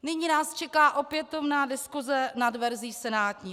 Nyní nás čeká opětovná diskuse nad verzí senátní.